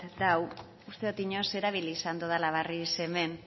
dago uste dot inoiz erabili izan dodala barriz hemen